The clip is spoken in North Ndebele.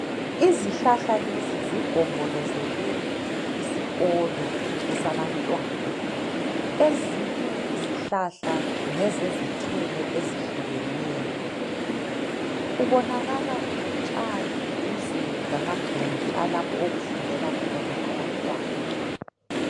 izihlahla lezi zigombolozele isikolo esabantwana ezinye izhlahla ngezezithelo ezehlukeneyo kubonakala kulotshani duze lamagumbi lapho okufundela khona abantwana